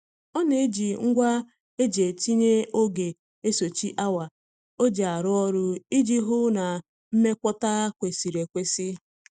Ọ na-eji ngwa e ji etinye oge esochi awa o ji arụ ọrụ ya iji hụ na nmọkwata kwesịrị ekwesị.